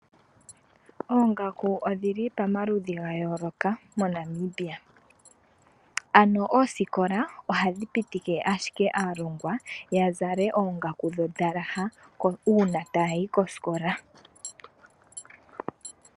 Oongaku odhili pamaludhi gayooloka moNamibia, ano oosikola ohadhi pitike ashike aalongwa yazale oongaku dhondalaha uuna taya yi kosikola.